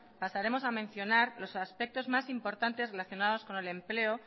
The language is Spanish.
pasaremos a mencionar los aspectos más importantes relacionados con el empleo